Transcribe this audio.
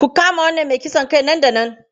Ku kama wannan mai kisan kai nan da nan!